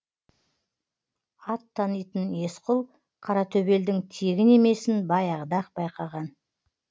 ат танитын есқұл қаратөбелдің тегін емесін баяғыда ақ байқаған